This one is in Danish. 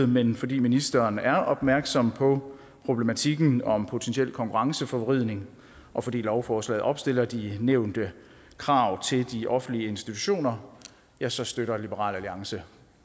men fordi ministeren er opmærksom på problematikken om potentiel konkurrenceforvridning og fordi lovforslaget opstiller de nævnte krav til de offentlige institutioner ja så støtter liberal alliance